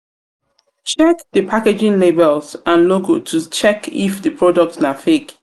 check di packaging labels and logo to check if di product na fake